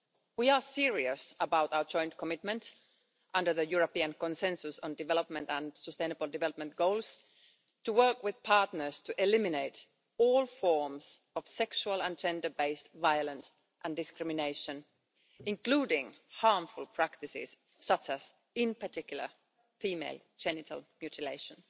We are serious about our joint commitment, under the European consensus on development and sustainable development goals, to work with partners to eliminate all forms of sexual and gender based violence and discrimination, including harmful practices such as, in particular, female genital mutilation.